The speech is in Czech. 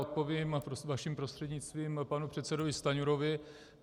Odpovím vaším prostřednictvím panu předsedovi Stanjurovi.